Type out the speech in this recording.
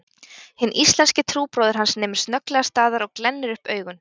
Hinn íslenski trúbróðir hans nemur snögglega staðar og glennir upp augun